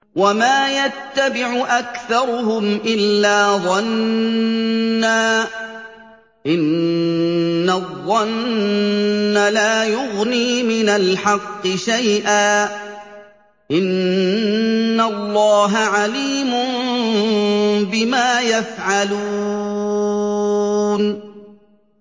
وَمَا يَتَّبِعُ أَكْثَرُهُمْ إِلَّا ظَنًّا ۚ إِنَّ الظَّنَّ لَا يُغْنِي مِنَ الْحَقِّ شَيْئًا ۚ إِنَّ اللَّهَ عَلِيمٌ بِمَا يَفْعَلُونَ